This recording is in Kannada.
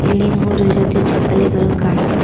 ಇಲ್ಲಿ ಮೂರು ಜೊತೆ ಚಪ್ಪಲಿಗಳು ಕಾಣುತ್ತಿ--